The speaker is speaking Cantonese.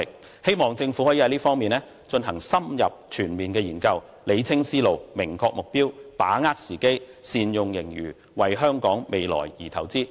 我希望政府在這方面進行深入全面研究，理清思路，明確目標，把握時機，善用盈餘，為香港未來而投資。